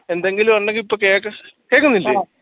എന്തെങ്കിലും ഉണ്ടെങ്കി ഇപ്പോ കേക്ക് കേൾക്കുന്നില്ലേ